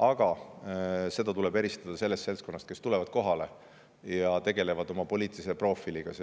Aga tuleb eristada seda seltskonda, kes tuleb kohale ja tegeleb oma poliitilise profiiliga